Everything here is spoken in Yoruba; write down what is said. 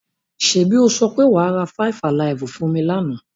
Ṣẹ́bi o sọ pé wa ra Faifalaifú fún mi lánà?